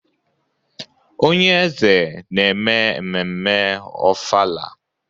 Onye eze na-eme ememme ofala.